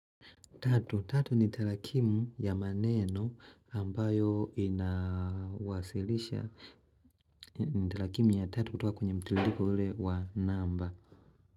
Tatu, tatu ni talakimu ya maneno ambayo inawasilisha. Ni tlakimu ya tatu kutoka kwenye mtililiko ule wa namba.